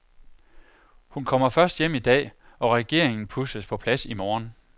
Hun kommer først hjem i dag og regeringen pusles på plads i morgen.